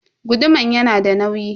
Guduman yanada nauyi.